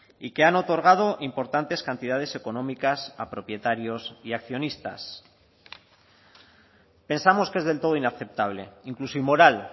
y que han otorgado importantes cantidades económicas a propietarios y accionistas pensamos que es del todo inaceptable incluso inmoral